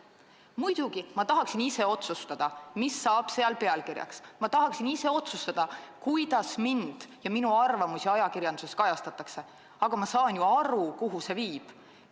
Muidugi tahaksin ma ise otsustada, mis saab pealkirjaks, ma tahaksin ise otsustada, kuidas mind ja minu arvamusi ajakirjanduses kajastatakse, aga ma saan ju aru, kuhu see viiks.